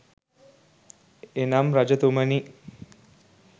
එනම් රජතුමනි,